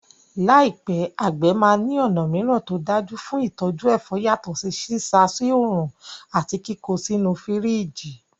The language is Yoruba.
Láìpẹ́, àgbẹ̀ máa ní ọ̀nà mìíràn tó dájú fún ìtọ́jú ẹ̀fọ́ yàtọ̀ sí sísá soòrùn àti kíkó sínú fírìjì.